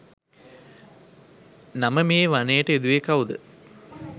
නම මේ වනයට යෙදුවේ කවුද?